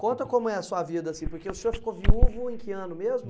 Conta como é a sua vida assim, porque o senhor ficou viúvo em que ano mesmo?